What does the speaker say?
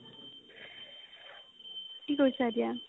কি কৰিছা এতিয়া ?